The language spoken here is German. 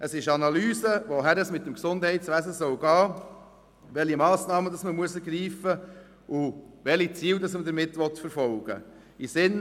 Es geht darum, wohin es mit dem Gesundheitswesen gehen soll, welche Massnahmen man ergreifen muss, und welche Ziele man damit verfolgen will.